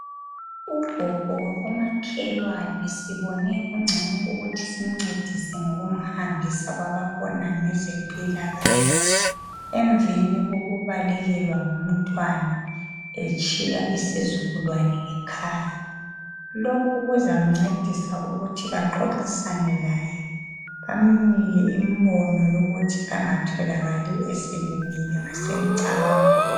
Ugogo wakomakhelwana sibone kungcono ukuthi simcedise ngokumhambisa kwababona ngezempilakahle , emveni kokubalekelwa ngumntwana etshiya isizukulwane ngekhaya , lokhu kuzamcedisa ukuthi baxoxisane laye bamnike imbono yokuthi angatholakali eselimele emcabangweni